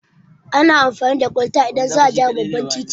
Ana amfani da kwalta idan za a gyara babban titi